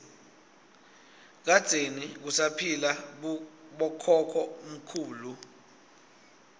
kadzeni kusaphila bokhokho mkhulu